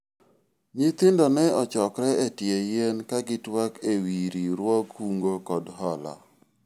Nyithindo ne ochokore e tie yien kagitwak ewi riwruog kungo kod hola